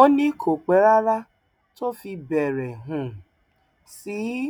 ó ní kò pẹ rárá tó fi bẹrẹ um sí í